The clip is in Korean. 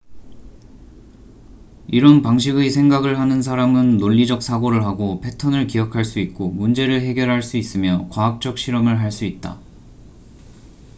이런 방식의 생각을 하는 사람은 논리적 사고를 하고 패턴을 기억할 수 있고 문제를 해결할 수 있으며 과학적 실험을 할 수 있다